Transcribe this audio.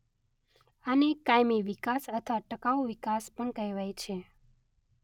આને કાયમી વિકાસ અથવા ટકાઉ વિકાસ પણ કહેવાય છે.